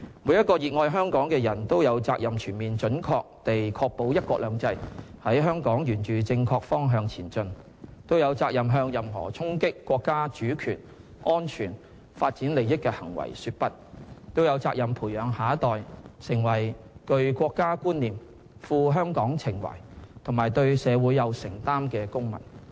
每個熱愛香港的人都有責任全面準確地確保"一國兩制"在香港沿着正確方向前進，都有責任向任何衝擊國家主權、安全、發展利益的行為說"不"，都有責任培養下一代成為具國家觀念、富香港情懷和對社會有承擔的公民。